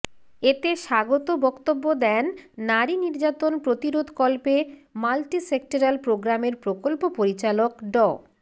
এতে স্বাগত বক্তব্য দেন নারী নির্যাতন প্রতিরোধকল্পে মাল্টিসেক্টরাল প্রোগ্রামের প্রকল্প পরিচালক ড